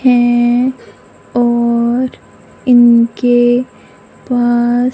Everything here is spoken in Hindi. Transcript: है और इनके पास--